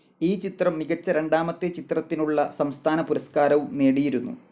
ഈ ചിത്രം മികച്ച രണ്ടാമത്തെ ചിത്രത്തിനുള്ള സംസ്ഥാനപുരസ്കാരവും നേടിയിരുന്നു.